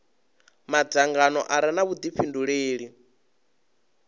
madzangano a re na vhudifhinduleli